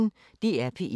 DR P1